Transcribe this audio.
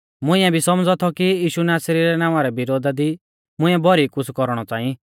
मुंइऐ भी सौमझ़ौ थौ कि यीशु नासरी रै नावां रै विरोधा दी मुंइऐ भौरी कुछ़ कौरणौ च़ांई